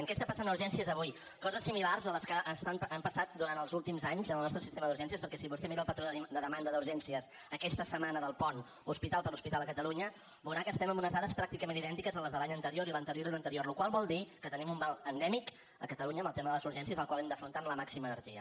què està passant a urgències avui coses similars a les que han passat durant els últims anys en el nostre sistema d’urgències perquè si vostè mira el patró de demanda d’urgències aquesta setmana del pont hospital per hospital a catalunya veurà que estem amb unes dades pràcticament idèntiques a les de l’any anterior i l’anterior i l’anterior la qual cosa vol dir que tenim un mal endèmic a catalunya amb el tema de les urgències el qual hem d’afrontar amb la màxima energia